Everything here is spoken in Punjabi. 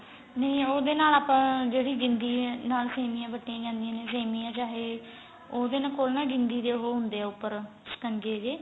ਨਹੀਂ ਉਹਦੇ ਨਾਲ ਆਪਾਂ ਜਿਹੜੀ ਜਿੰਦੀ ਏ ਨਾਲ ਸੇਮੀਆਂ ਵੱਟੀਆਂ ਜਾਂਦੀਆਂ ਨੇ ਸੇਮੀਆਂ ਚਾਹੇ ਉਹਦੇ ਕੋਲ ਨਾ ਜਿੰਦੀ ਦੇ ਉਹ ਹੁੰਦੇ ਏ ਉਪਰ ਸਿਕੰਜੇ ਜੇ